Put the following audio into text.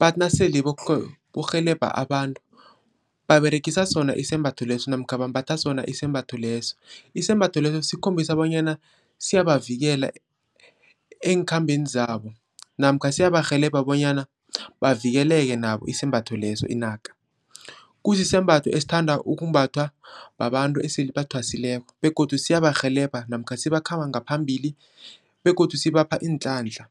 bathi nasele bokurhelebha abantu, baberegisa sona isembatho lesi namkha bambatha sona isembatho leso. Isembatho leso sikhombisa bonyana siyabavikela eenkhambeni zabo namkha siyabarhelebha bonyana bavikeleke nabo isembatho leso, inaka. Kusisembatho esithanda ukumbathwa babantu esele bathwasileko begodu siyabarhelebha namkha sibakhamba ngaphambili begodu sibapha iinhlanhla.